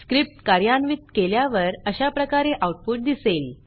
script कार्यान्वित केल्यावर अशाप्रकारे आऊटपुट दिसेल